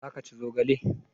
Za ka ci zogale?